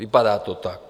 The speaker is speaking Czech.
Vypadá to tak.